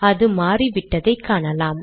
அது மாறிவிட்டதை காணலாம்